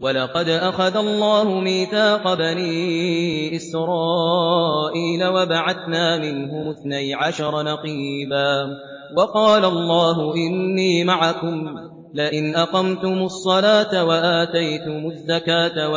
۞ وَلَقَدْ أَخَذَ اللَّهُ مِيثَاقَ بَنِي إِسْرَائِيلَ وَبَعَثْنَا مِنْهُمُ اثْنَيْ عَشَرَ نَقِيبًا ۖ وَقَالَ اللَّهُ إِنِّي مَعَكُمْ ۖ لَئِنْ أَقَمْتُمُ الصَّلَاةَ وَآتَيْتُمُ الزَّكَاةَ